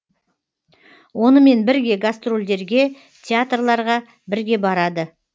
онымен бірге гастрольдерге театрларға бірге барады